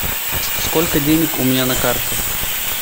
сколько денег у меня на карте